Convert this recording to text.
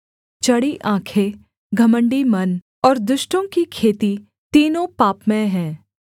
चढ़ी आँखें घमण्डी मन और दुष्टों की खेती तीनों पापमय हैं